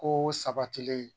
Ko sabatilen